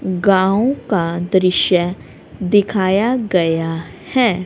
गांव का दृश्य दिखाया गया है।